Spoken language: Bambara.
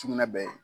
Sugunɛ bɛɛ ye